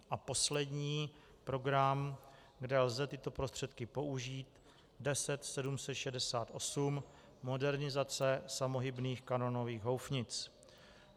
A poslední program, kde lze tyto prostředky použít, 10768 - modernizace samohybných kanónových houfnic.